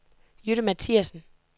Jytte Mathiassen